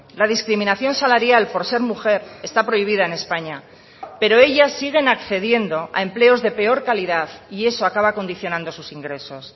la discriminación salarial por ser mujer está prohibida en españa pero ellas siguen accediendo a empleos de peor calidad y eso acaba condicionando sus ingresos